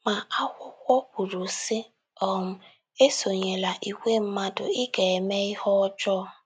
Ma, akụkọ kwuru, sị: um “ Esonyela ìgwè mmadụ ịga mee ihe ọjọọ. ”